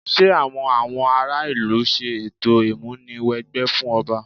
Ṣé àwọn àwọn ará ìlú ń ṣe ètò ìmúni wẹgbẹ́ fún ọba?